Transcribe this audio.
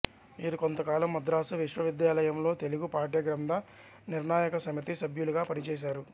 వీరు కొంతకాలం మద్రాసు విశ్వవిద్యాలయంలో తెలుగు పాఠ్యగ్రంథ నిర్ణాయక సమితి సభ్యులుగా పనిచేశారు